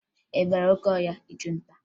Ị bara n'oke ọhịa ịchụ nta?